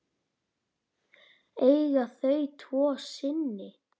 Eiga þau tvo syni.